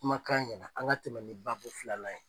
Kumakan ɲɛna, an ŋa tɛmɛ ni babu filanan ye.